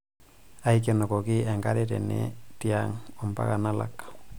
aikenokoki enkare tene tiang' ompaka nalak'